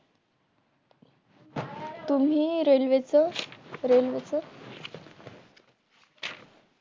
तुम्ही रेल्वेचं रेल्वेचं